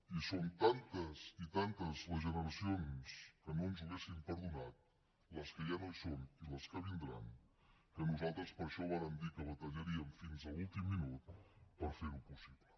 i són tantes i tantes les generacions que no ens ho haurien perdonat les que ja no hi són i les que vindran que nosaltres per això vàrem dir que batallaríem fins a l’últim minut per fer ho possible